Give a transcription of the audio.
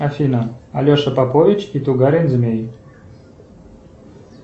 афина алеша попович и тугарин змей